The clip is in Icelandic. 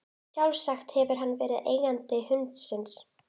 Sjálfsagt hefur hann verið eigandi hundsins.